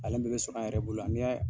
Ale bɛɛ bɛ sɔrɔ a yɛrɛ bolo yan, n y'a